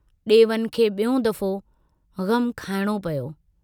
डेवन खे बियों दफ़ो ग़मु खाइणो पियो।